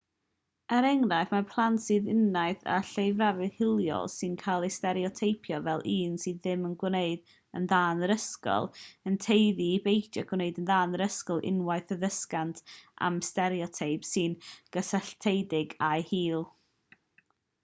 er enghraifft mae plant sy'n uniaethu â lleiafrif hiliol sy'n cael ei stereoteipio fel un sydd ddim yn gwneud yn dda yn yr ysgol yn tueddu i beidio â gwneud yn dda yn yr ysgol unwaith y dysgant am y stereoteip sy'n gysylltiedig â'u hil